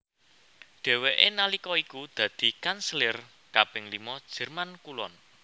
Dhèwèké nalika iku dadi kanselir kaping lima Jerman Kulon